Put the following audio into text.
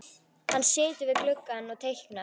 Hann situr við gluggann og teiknar.